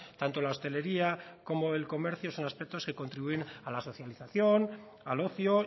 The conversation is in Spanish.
tanto la hostelería como el comercio son aspectos que contribuyen a la socialización al ocio